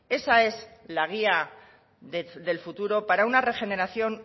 esa es la guía del futuro para una regeneración